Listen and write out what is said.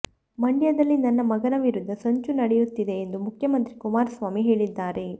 ಮಂಡ್ಯದಲ್ಲಿ ನನ್ನ ಮಗನ ವಿರುದ್ಧ ಸಂಚು ನಡೆಯುತ್ತಿದೆ ಎಂದು ಮುಖ್ಯಮಂತ್ರಿ ಕುಮಾರಸ್ವಾಮಿ ಹೇಳಿದ್ದಾರೆ